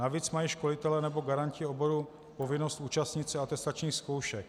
Navíc mají školitelé nebo garanti oboru povinnost účastnit se atestačních zkoušek.